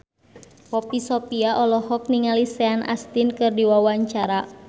Poppy Sovia olohok ningali Sean Astin keur diwawancara